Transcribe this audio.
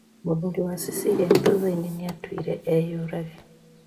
Mũthuri wa Cecelia thutha-inĩ nĩatwire eyũrage.